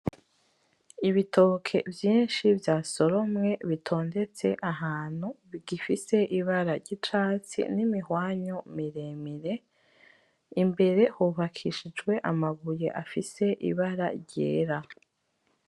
Ibitoke vyinshi vyasoromwe bitondetse ahantu bigifise ibara ry'icatsi n'imihwanyu miremire, imbere hubakishijwe amabuye afise ibara ryera.